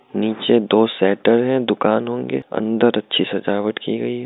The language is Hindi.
नीचे दो शटर है दुकान होंगे अंदर अच्छी सजावट की गई है ।